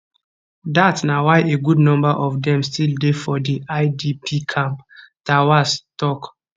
dat na why a good number of dem still dey for di idp camps terwase tok